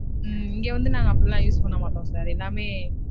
ஹம் இங்க வந்து நாங்க அப்டிலாம் use பண்ண மாட்டோம் sir. எல்லாமே